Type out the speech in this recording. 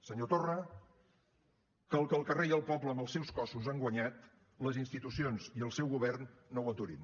senyor torra que el que el carrer i el poble amb els seus cossos han guanyat les institucions i el seu govern no ho aturin